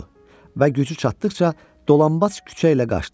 və gücü çatdıqca dolanbac küçə ilə qaçdı.